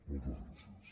moltes gràcies